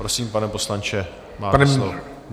Prosím, pane poslanče, máte slovo.